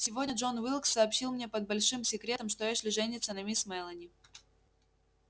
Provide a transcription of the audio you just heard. сегодня джон уилкс сообщил мне под большим секретом что эшли женится на мисс мелани